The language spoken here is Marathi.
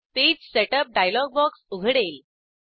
पेज सेटअप डायलॉग बॉक्स उघडेल